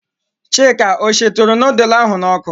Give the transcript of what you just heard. Chika ọ shituru nudul ahụ n'ọkụ?